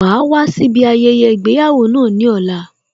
Wàá wá síbi ayẹyẹ ìgbéyàwó náà ní ọ̀la